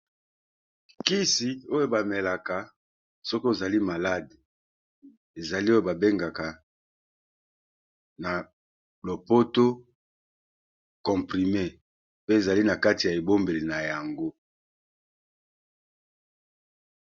Kisi oyo ba melaka soki ozali malade ezali oyo ba bengaka na lopoto comprime, pe ezali na kati ya ebombeli na yango.